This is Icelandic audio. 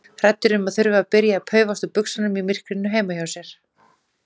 Hræddur um að þurfa að byrja að paufast úr buxunum í myrkrinu heima hjá sér.